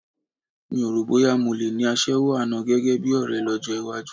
Mi o rò bóyá mo le ní aṣẹ́wó àná gẹ́gẹ́ bí ọ̀rẹ́ lọ́jọ́ iwájú